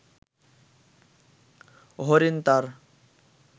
হরিণ তার